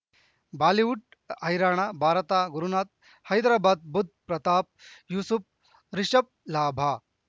Bollywood ಹೈರಾಣ ಭಾರತ ಗುರುನಾಥ ಹೈದರಾಬಾದ್ ಬುಧ್ ಪ್ರತಾಪ್ ಯೂಸುಫ್ ರಿಷಬ್ ಲಾಭ